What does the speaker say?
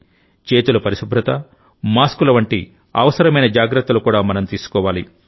చేతుల పరిశుభ్రత మాస్కుల వంటి అవసరమైన జాగ్రత్తలు కూడా మనం తీసుకోవాలి